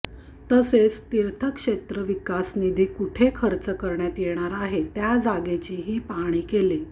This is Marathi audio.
तसेच तीर्थक्षेत्र विकास निधी कुठे खर्च करण्यात येणार आहे त्या जागेची ही पाहणी केली